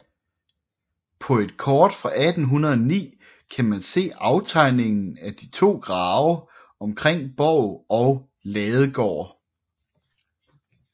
På et kort fra 1809 kan man se aftegningen af de to grave omkring borg og ladegård